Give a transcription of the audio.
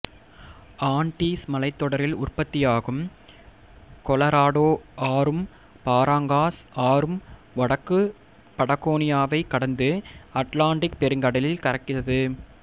Andes மலைத்தொடரில் உற்பத்தி ஆகும் கொலராடோ ஆறும் பாராங்காஸ் ஆறும் வடக்கு படகோனியாவைக் கடந்து அட்லாண்டிக் பெருங்கடலில் கலக்கிறது